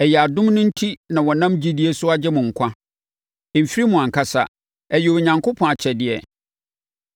Ɛyɛ adom no enti na wɔnam gyidie so agye mo nkwa. Ɛmfiri mo ankasa, ɛyɛ Onyankopɔn akyɛdeɛ.